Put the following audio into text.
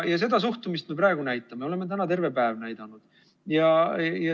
Ja seda suhtumist me praegu näitame, me oleme täna terve päev näidanud.